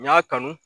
N y'a kanu